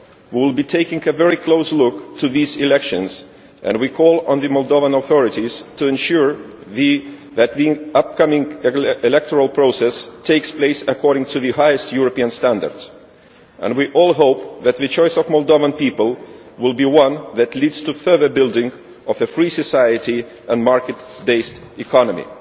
We will be looking very closely at these elections, and we call on the Moldovan authorities to ensure that the upcoming electoral process takes place according to the highest European standards. We all hope that the choice of the Moldovan people will be one that leads to the further building of a free society and a market based economy.